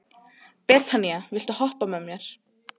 Betanía, viltu hoppa með mér?